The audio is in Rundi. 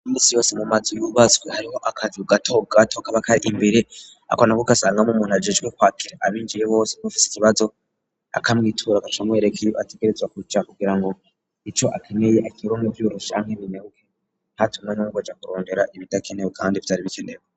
Imisi yose mu mazu yubaswe hariho akazi ugato gato kabakari imbere akona guk asangamo umuntu agijwe kwakira abinjiye bose kufise ikibazo akamwitura gasomo erekye ategeretzwa kuca kugira ngo ico akeneye akirao mu byurusha nkebinyabuke ntatumwe numboja kurondera ibidakenewe kandi vyari bikenewo.